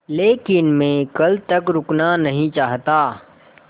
लेकिन मैं कल तक रुकना नहीं चाहता